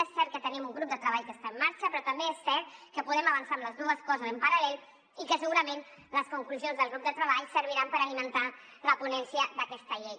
és cert que tenim un grup de treball que està en marxa però també és cert que podem avançar en les dues coses en paral·lel i que segurament les conclusions del grup de treball serviran per alimentar la ponència d’aquesta llei